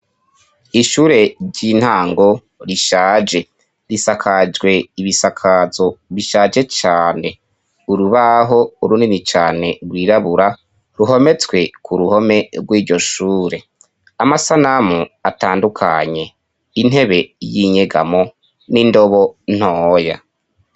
Ishure ry'intango rishaje risakajwe ibisakazo bishaje cane, urubaho urunini cane rwirabura ruhometswe ku ruhome rw'iryo shure, amasanamu atandukanye, intebe y'inyegamo n'indobo ntoya.